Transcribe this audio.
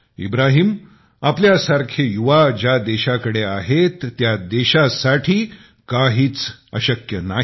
इब्राहीम आपल्यासारखे युवा ज्या देशाकडे आहेत त्या देशासाठी काहीच अशक्य नाही